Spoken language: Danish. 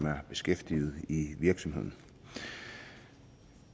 er beskæftiget i virksomheden